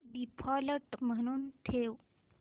default म्हणून ठेव